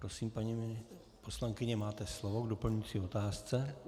Prosím, paní poslankyně, máte slovo k doplňující otázce.